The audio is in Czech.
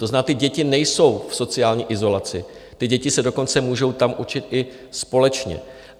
To znamená, ty děti nejsou v sociální izolaci, ty děti se dokonce můžou tam učit i společně.